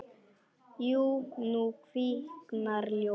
Jú, nú kviknar ljós.